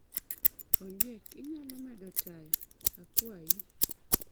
Ondiek inyalo medo taya, kiwayi